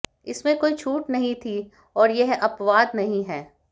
इसमें कोई छूट नहीं थी और यह अपवाद नहीं है